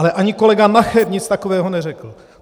Ale ani kolega Nacher nic takového neřekl.